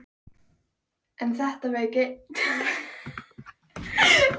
En þetta veit enginn þegar hann er ungur.